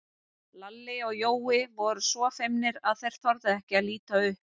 Lalli og Jói voru svo feimnir að þeir þorðu ekki að líta upp.